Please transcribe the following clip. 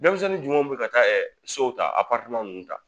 Dɛmisɛnnin jumɛnw bɛ ka taa sow ta nunnu ta?